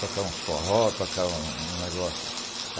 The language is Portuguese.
tocar uns forró, tocar um negócio.